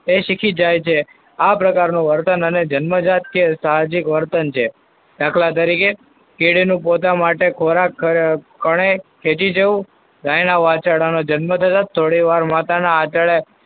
એ શીખી જાય છે આ પ્રકારનું વર્તન અને જન્મજાત કે સહજીક વર્તન છે. દાખલા તરીકે કીડી નો પોતા માટે ખોરાક કોણે ખેંચી જવું. ગાયના વાછરડાનું જન્મ થતાં જ થોડીવારમાં માતાના આંચડે